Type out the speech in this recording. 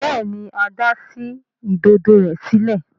Béèni Ada sí Ìdodo rẹ sílẹ̀.